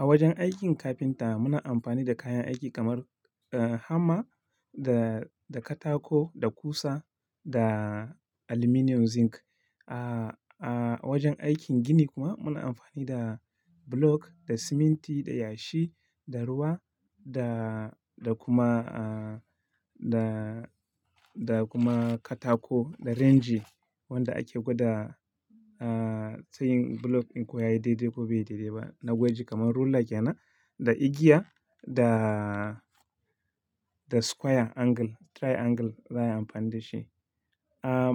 A wajen aikin kafinta muna amfani da kayan aiki kamar, eh, hamma da, da katako, da ƙusa, da aluminium zinc. A, a wajen aikin gini kuma muna amfani da block, da siminti, da yashi, da ruwa da, da kuma, ah, da, da kuma katako, da renji wanda ake gwada, ah, ta yin block in kuwa yayi dai-dai ko bai dai-dai ba. Na'urar kamar roller yana, da igiya da, da square angle, triangle za a yi amfani da shi. Ah,